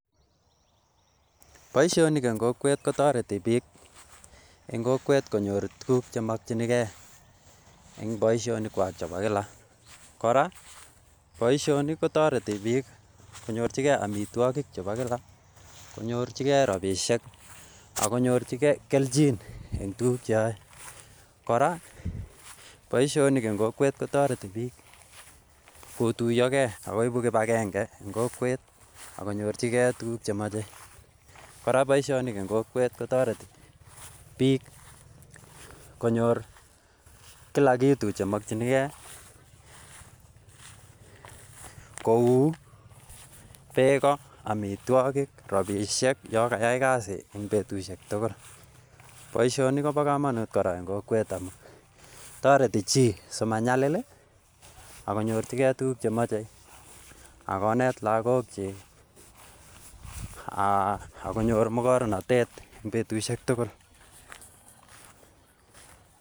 Boishonik en kokwet kotoreti bik en kokwet konyor tukuk chemokingee en boishonik kwa chebo Kila. Koraa boishonik kotoreti bik konyorchigee omitwokik chebo kila , konyorchigee rabishek ak konyorchigee keljin en tukuk cheyoe. Koraa boishonik en kokwet kotoreti bik kotuyogee ak koibu kipagenge en kokwet ak konyorchigee tukuk chemoche, koraa boishonik en kokwet kotoreti bik komyor kula kitu chemokingee kou beeko, omitwokik rabishek yon kayai kasit en betushek tukul. Boishoni Kobo komonut koraa en kokwet amun toreti chii simanyalil lii ak konyorchigee tukuk chemoche ak konet lokok chik akonyor mokornotet en betushek tukul.